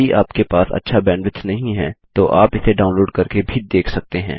यदि आपके पास अच्छा बैंडविड्थ नहीं है तो आप इसे डाउनलोड़ करके भी देख सकते हैं